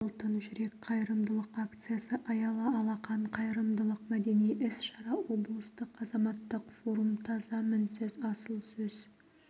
алтын жүрек қайырымдылық акциясы аялы алақан қайырымдылық мәдени іс-шара облыстық азаматтық форум таза мінсіз асыл сөз